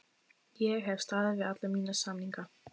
Ég hef staðið við alla mína samninga.